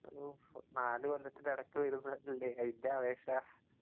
ഊഹ് നാല് കൊല്ലത്തിന്റെടക്ക് വര്ന്നതല്ലേ, അയിന്റാവേശാ.